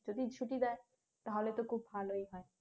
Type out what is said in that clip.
যদি ছুটি দেয় তাহলে তো খুব ভালোই হয়